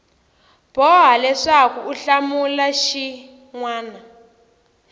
boha leswaku u hlamula xin